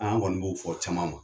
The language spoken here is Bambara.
An kɔni b'o fɔ caman ma.